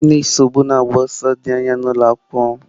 M na-esobu na-agba ọsọ dị anya n'ụlọ akwụkwọ m.